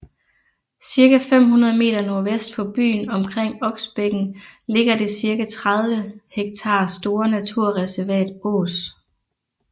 Cirka 500 meter nordvest for byen omkring Oksbækken ligger det cirka 30 ha store naturreservat Ås